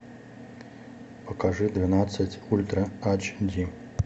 покажи двенадцать ультра ач ди